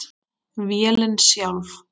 Vélin sjálf